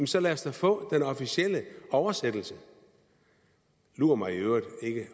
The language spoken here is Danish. så lad os da få den officielle oversættelse lur mig i øvrigt